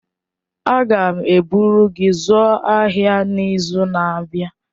Aga m eburu gị zụọ ahịa n'izu na-abịa.